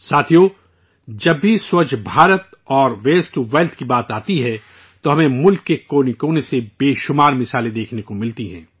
ساتھیو، جب بھی سووچھ بھارت اور 'ویسٹ ٹو ویلتھ' کی بات آتی ہے، تو ہمیں ملک کے کونے کونے سے بے شمار مثالیں دیکھنے کو ملتی ہیں